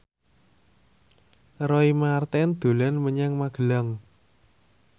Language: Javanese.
Roy Marten dolan menyang Magelang